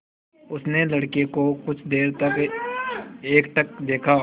उसने लड़के को कुछ देर तक एकटक देखा